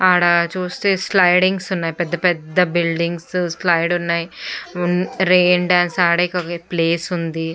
ఆడ చుస్తే స్లిడింగ్స్ ఉన్నాయ్ పెద్ద పెద్ద బిల్డిగ్స్ స్లయిడ్ ఉన్నాయ్ ఉన్ రైన్ డాన్స్ ఆడే క్ ప్లేస్ ఉంది.